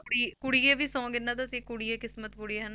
ਕੁੜੀ ਕੁੜੀਏ ਵੀ song ਇਹਨਾਂ ਦਾ ਸੀ ਕੁੜੀਏ ਕਿਸਮਤ ਪੁੜੀਏ ਹਨਾ,